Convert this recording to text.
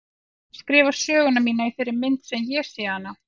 Ég er að skrifa söguna mína í þeirri mynd sem ég sé hana.